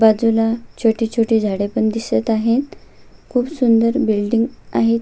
बाजूला छोटी छोटी झाडे पण दिसत आहेत खुप सुंदर बिल्डिंग आहेत.